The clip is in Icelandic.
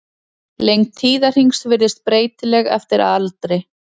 Lengd tíðahrings virðist breytileg eftir aldri.